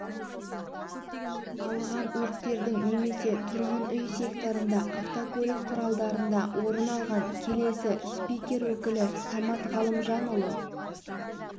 алған өрттердің немесе тұрғын үй секторында автокөлік құралдарында орын алған келесі спикер өкілі самат ғалымжанұлы